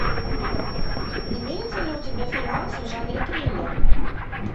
имеется ли у тебя фильмас в жанре триллер